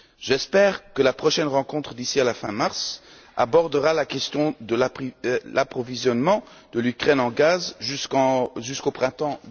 J'espère que la prochaine rencontre, d'ici à la fin mars, abordera la question de l'approvisionnement de l'Ukraine en gaz jusqu'au printemps